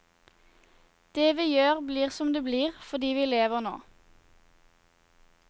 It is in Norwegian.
Det vi gjør blir som det blir fordi vi lever nå.